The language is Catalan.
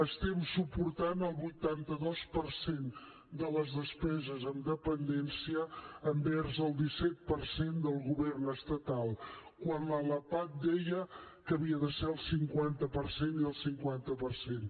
estem suportant el vuitanta dos per cent de les despeses en dependència envers el disset per cent del govern estatal quan a la lapad deia que havia de ser el cinquanta per cent i el cinquanta per cent